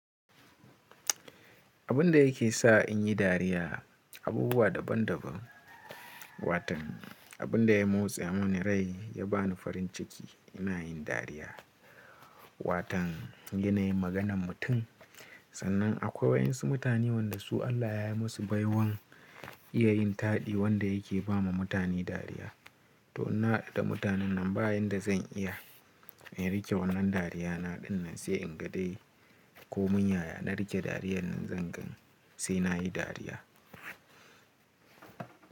Abin da yake sa in yi dariya abubuwa daban daban. Watan abin da ya motsa mun rai ya bani farin ciki ina yin dariya. Watan yanayin maganan mutum. Sannan akwai waɗansu mutane wanda su Allah ya yi musu baiwan iya yin taɗi wanda yake ba ma mutane dariya. To ina haɗa da mutanen na bayen da zan iya in rike wannan dariya na dinnan sai in ga dai ko mun yaya na rike dariyar nan zan gan sai na yi dariya.